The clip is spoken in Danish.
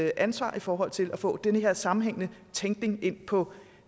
ansvar i forhold til at få den her sammenhængende tænkning ind på